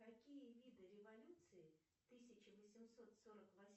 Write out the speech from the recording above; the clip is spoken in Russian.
какие виды революции тысяча восемьсот сорок восьмого